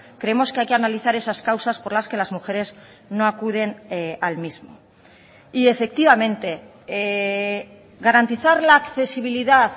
creemos que hay que analizar esas causas por las que las mujeres no acuden al mismo y efectivamente garantizar la accesibilidad